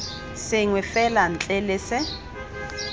sengwe fela ntle le se